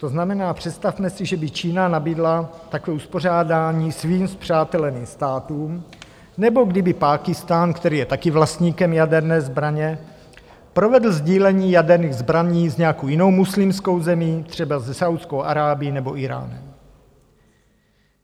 To znamená, představme si, že by Čína nabídla takové uspořádání svým spřáteleným státům, nebo kdyby Pákistán, který je taky vlastníkem jaderné zbraně, provedl sdílení jaderných zbraní s nějakou jinou muslimskou zemí, třeba se Saúdskou Arábií nebo Íránem.